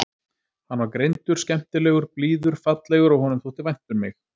Hann var greindur, skemmtilegur, blíður, fallegur og honum þótti vænt um mig.